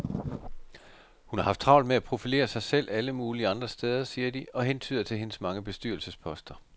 Hun har haft travlt med at profilere sig selv alle mulige andre steder, siger de og hentyder til hendes mange bestyrelsesposter.